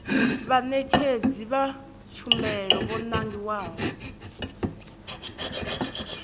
vhaṋetshedzi vha tshumelo vho nangiwaho